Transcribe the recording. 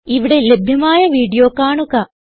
ഇവിടെ ലഭ്യമായ വീഡിയോ കാണുക